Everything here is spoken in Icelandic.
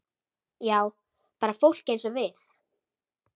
Já, bara fólk eins og við.